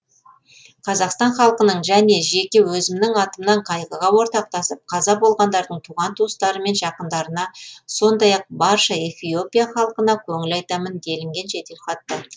қазақстан халқының және жеке өзімнің атымнан қайғыға ортақтасып қаза болғандардың туған туыстары мен жақындарына сондай ақ барша эфиопия халқына көңіл айтамын делінген жеделхатта